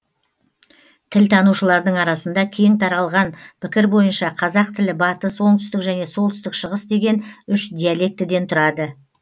тілтанушылардың арасында кең таралған пікір бойынша қазақ тілі батыс оңтүстік және солтүстік шығыс деген үш диалектіден тұрады